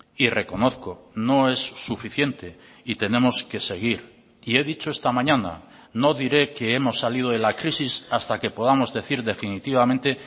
y reconozco no es suficiente y tenemos que seguir y he dicho esta mañana no diré que hemos salido de la crisis hasta que podamos decir definitivamente